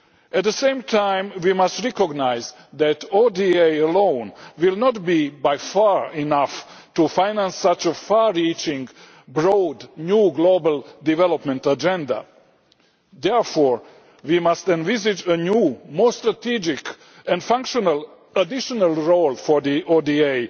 At the same time, we must recognise that ODA alone will not be nearly enough to finance such a far reaching, broad new global development agenda. Therefore we must envisage a new, more strategic and functional additional role for